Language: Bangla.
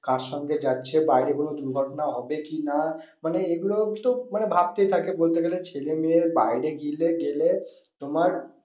কার সঙ্গে যাচ্ছে বাইরে কোনো দুর্ঘটনা হবে কি না মানে এইগুলো মানে ভাবতেই থাকে বলতে গেলে ছেলে মেয়ে বাইরে গেলে তোমার